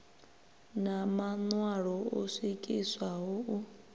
na maṋwalo o swikiswaho u